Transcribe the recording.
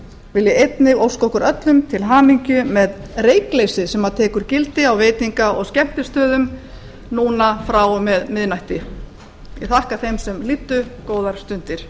vil ég einnig óska okkur öllum til hamingju með reykleysið sem tekur gildi á veitinga og skemmtistöðum núna frá og með miðnætti ég þakka þeim sem hlýddu góðar stundir